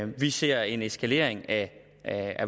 vi ser en eskalering af